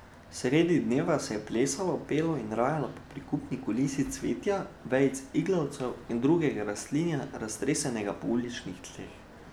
Sredi dneva se je plesalo, pelo in rajalo ob prikupni kulisi cvetja, vejic iglavcev in drugega rastlinja, raztresenega po uličnih tleh.